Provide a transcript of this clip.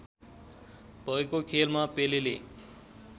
भएको खेलमा पेलेले